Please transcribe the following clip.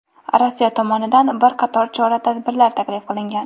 Rossiya tomonidan bir qator chora-tadbirlar taklif qilingan.